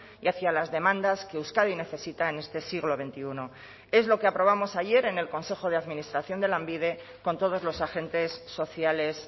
y hacia las demandas que euskadi necesita en este siglo veintiuno es lo que aprobamos ayer en el consejo de administración de lanbide con todos los agentes sociales